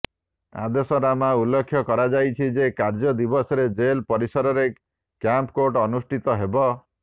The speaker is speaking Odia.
ଆଦେଶନାମାରେ ଉଲ୍ଲେଖ କରାଯାଇଛି ଯେ କାର୍ଯ୍ୟ ଦିବସରେ ଜେଲ ପରିସରରେ କ୍ୟାମ୍ପ କୋର୍ଟ ଅନୁଷ୍ଠିତ ହେବ